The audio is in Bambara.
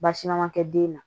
Baasi ma kɛ den na